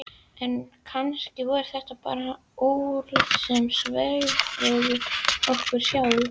En kannski voru þetta bara orð sem svæfðu okkur sjálf.